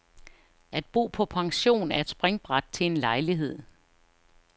At bo på pension er et springbræt til en lejlighed.